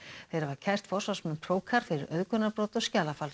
þeir hafa kært forsvarsmenn fyrir auðgunarbrot og skjalafals